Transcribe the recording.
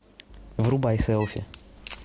врубай селфи